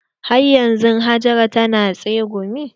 Har yanzun Hajara tana tsegumi?